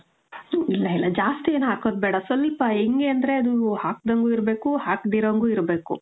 ಇಲ್ಲ ಇಲ್ಲ ಜಾಸ್ತಿ ಏನು ಹಾಕೋದ್ ಬೇಡ. ಸ್ವಲ್ಪ, ಹೆಂಗೆ ಅಂದ್ರೆ ಅದು ಹಾಕ್ದಂಗು ಇರ್ಬೇಕು, ಹಾಕ್ದಿರಂಗು ಇರ್ಬೇಕು.